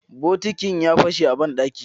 Bokitin ya fashe a banɗaki